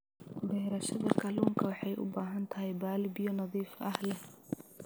Beerashada kalluunka waxay u baahan tahay balli biyo nadiif ah leh.